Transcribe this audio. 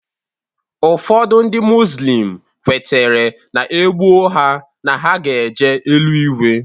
Ụfọdụ ndị muzlim kwetere na e gbuo ha na ha ga-eje eluigwe